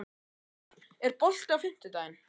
Snævarr, er bolti á fimmtudaginn?